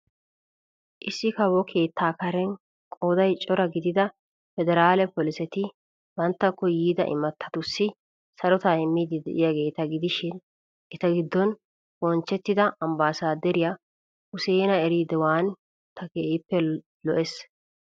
Issi kawo keettaa karen qooday cora gidida pederale polisetti banttakko yiida imatatussi sarotaa immiid de'iyaageeta gidishshin eta gidon bonchchettida Ambbasaaderiya Useena Rediwaan ta keehiippe lo'ees.